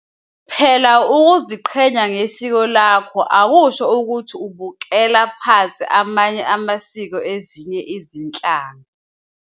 Phela ukuziqhenya ngesiko lakho akusho ukuthi ubukele phansi amanye amasiko ezinye izinhlanga.